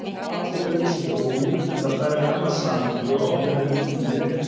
En atvikalýsing er ólík, enda færð í annað samhengi og ákveðnari búning í leiknum.